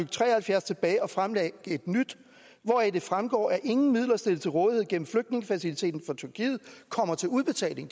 tre og halvfjerds tilbage og fremlægge et nyt hvoraf det fremgår at ingen midler stillet til rådighed gennem flygtningefaciliteten for tyrkiet kommer til udbetaling